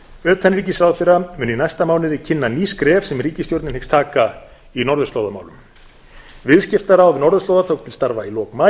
utanríkisráðherra mun í næsta mánuði kynna ný skref sem ríkisstjórnin hyggst taka í norðurslóðamálum viðskiptaráð norðurslóða tók til starfa í lok maí